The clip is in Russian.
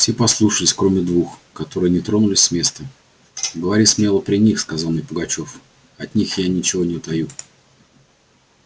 все послушались кроме двух которые не тронулись с места говори смело при них сказал мне пугачёв от них я ничего не таю